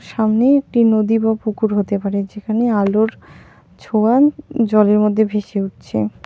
সামনে একটি নদী বা পুকুর হতে পারে যেখানে আলোর ছোঁয়া জলের মধ্যে ভেসে উঠছে.